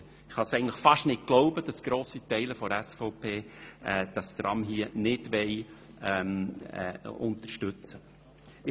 Eigentlich kann ich fast nicht glauben, dass ein grosser Teil der SVP das Tram nicht unterstützen will.